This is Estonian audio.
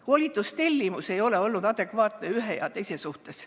Koolitustellimus ei ole olnud adekvaatne ei ühe ega teise suhtes.